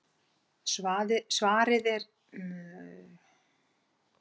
Svarið er í stuttu máli tvíþætt.